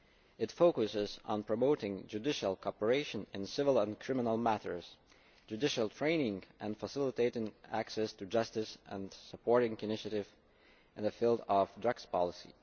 It focuses on promoting judicial cooperation in civil and criminal matters, judicial training and facilitating access to justice, and supporting initiatives in the field of drugs policy.